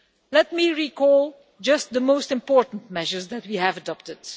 Let me recall just the most important measures that we have adopted.